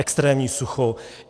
Extrémní sucho.